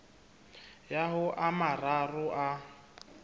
ya ho a mararo a